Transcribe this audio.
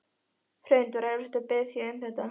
Hrund: Var erfitt að biðja um þetta?